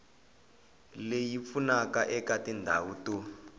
leyi pfunaka eka tindhawu to